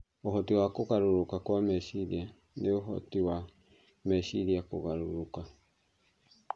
Ũhoti wa kũgarũrũka kwa meciria nĩ ũhoti wa meciria kũgarũrũka